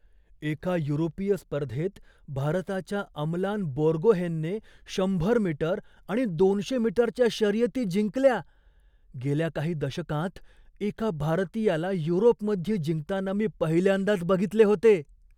एका युरोपीय स्पर्धेत भारताच्या अमलान बोर्गोहेनने शंभर मीटर आणि दोनशे मीटरच्या शर्यती जिंकल्या. गेल्या काही दशकांत एका भारतीयाला युरोपमध्ये जिंकताना मी पहिल्यांदाच बघितले होते.